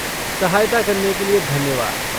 सहायता करने के लिए धन्यवाद।